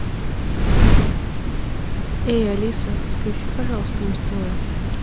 эй алиса включи пожалуйста муз тв